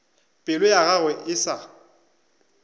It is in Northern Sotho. pelo ya gagwe e sa